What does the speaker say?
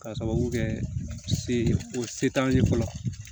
K'a sababu kɛ se o ye se t'an ye fɔlɔ